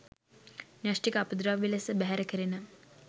න්‍යෂ්ටික අපද්‍රව්‍ය ලෙස බැහැර කෙරෙන